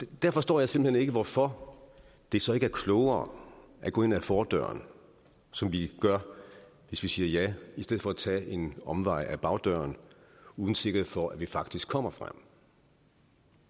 der forstår jeg simpelt hen ikke hvorfor det så ikke er klogere at gå ind ad fordøren som vi gør hvis vi siger ja i stedet for at tage en omvej ad bagdøren uden sikkerhed for at vi faktisk kommer frem